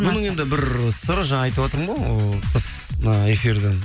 бұның енді бір сыры жаңа айтыватырмын ғой ы тыс мына эфирден